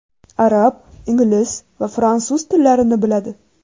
Arab, ingliz va fransuz tillarini biladi.